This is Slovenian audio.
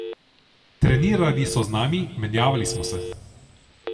Trenirali so z nami, menjavali smo se.